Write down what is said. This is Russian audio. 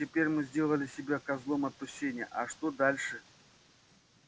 итак теперь мы сделали себя козлом отпущения а что же дальше